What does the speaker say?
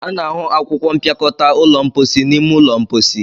A na-ahụ akwụkwọ mpịakọta ụlọ mposi n'ime ụlọ mposi.